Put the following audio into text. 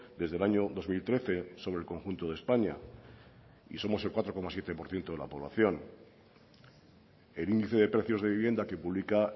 desde el año dos mil trece sobre el conjunto de españa y somos el cuatro coma siete por ciento de la población el índice de precios de vivienda que publica